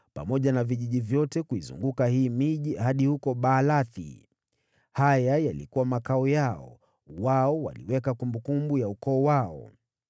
pamoja na vijiji vyote kuizunguka hii miji hadi huko Baali. Haya yalikuwa makao yao, nao waliweka kumbukumbu ya ukoo wao.